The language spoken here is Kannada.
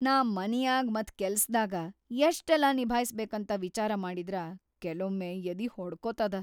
ನಾ ಮನ್ಯಾಗ್ ಮತ್‌ ಕೆಲ್ಸದಾಗ ಯಷ್ಟೆಲ್ಲಾ ನಿಭಾಯ್ಸ್‌ಬೇಕಂತ ವಿಚಾರ ಮಾಡಿದ್ರ ಕೆಲೊಮ್ಮೆ ಯದಿ ಹೊಡ್ಕೊತದ.